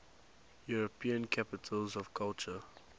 european capitals of culture